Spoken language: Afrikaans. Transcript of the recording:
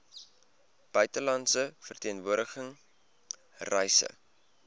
buitelandse verteenwoordiging reise